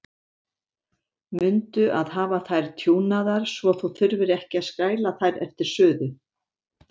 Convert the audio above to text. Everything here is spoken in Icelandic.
Mundu að hafa þær tjúnaðar svo þú þurfir ekki að skræla þær eftir suðu.